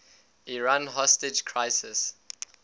iran hostage crisis